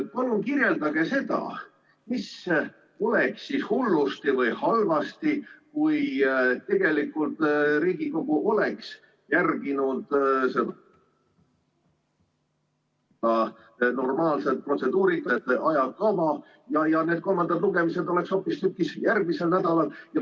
Palun kirjeldage, mis oleks siis hullusti või halvasti, kui Riigikogu oleks järginud seda normaalset protseduurikat ja ajakava ning need kolmandad lugemised oleks hoopistükkis järgmisel nädalal.